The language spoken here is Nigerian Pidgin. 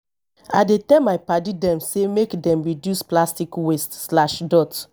i dey tell my paddy dem sey make dem reduce plastic waste.